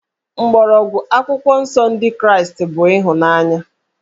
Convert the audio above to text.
Mgbọrọgwụ Akwụkwọ Nsọ Ndị Kraịst bụ ịhụnanya